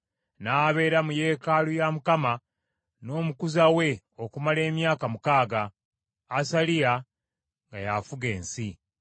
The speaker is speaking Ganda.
N’abeera mu yeekaalu ya Mukama n’omukuza we okumala emyaka mukaaga, Asaliya nga y’afuga ensi.